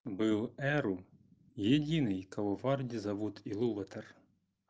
был эру единый кого варде зовут илуватар